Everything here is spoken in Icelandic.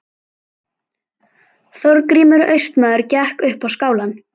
Þorgrímur austmaður gekk upp á skálann.